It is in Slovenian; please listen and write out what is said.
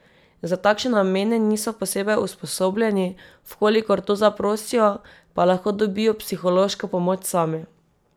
Za takšne namene niso posebej usposobljeni, v kolikor to zaprosijo, pa lahko dobijo psihološko pomoč sami.